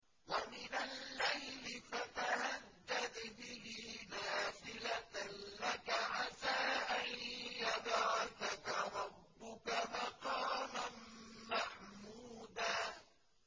وَمِنَ اللَّيْلِ فَتَهَجَّدْ بِهِ نَافِلَةً لَّكَ عَسَىٰ أَن يَبْعَثَكَ رَبُّكَ مَقَامًا مَّحْمُودًا